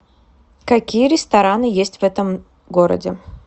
какие рестораны есть в этом городе